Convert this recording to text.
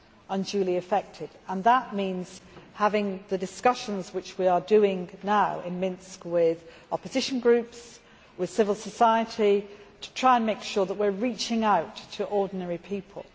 unduly affected, and that means having the discussions which we are now engaged in in Minsk with opposition groups, with civil society, to try and make sure that we are reaching out to ordinary people.